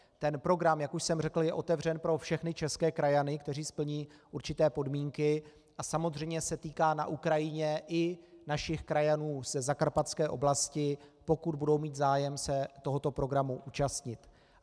Ten program, jak už jsem řekl, je otevřen pro všechny české krajany, kteří splní určité podmínky, a samozřejmě se týká na Ukrajině i našich krajanů ze zakarpatské oblasti, pokud budou mít zájem se tohoto programu účastnit.